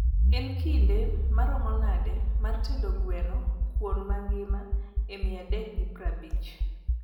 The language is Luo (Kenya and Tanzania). en kinde marom nade mar tedo gweno kuon magima e mia dek gi praabich